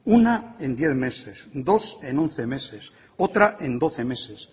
una en diez meses dos en once meses otra en doce meses